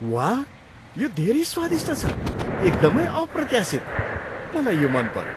वाह! यो धेरै स्वादिष्ट छ, एकदमै अप्रत्याशित। मलाई यो मन पऱ्यो।